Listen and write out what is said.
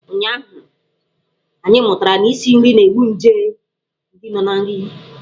Ụnyụahụ, anyị mụtara na isi nri na-egbu nje ndị nọ na nri.